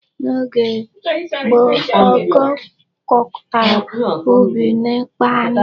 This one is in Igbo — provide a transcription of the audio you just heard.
N'oge gboo ọkọọ gwkọtara ubi na ịkpa anụ.